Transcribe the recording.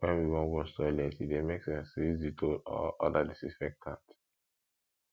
when we wan wash toilet e dey make sense to use dettol or oda disinfectant